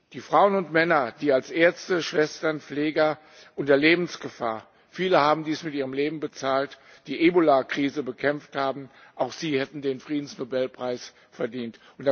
Die Frauen und Männer, die als Ärzte, Schwestern, Pfleger unter Lebensgefahr viele haben dies mit ihrem Leben bezahlt die Ebola Krise bekämpft haben, auch sie hätten den Friedensnobelpreis verdient.